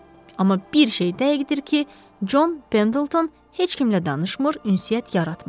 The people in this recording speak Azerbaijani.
Amma bir şey dəqiqdir ki, Con Pendleton heç kimlə danışmır, ünsiyyət yaratmır.